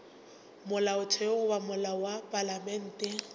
molaotheo goba molao wa palamente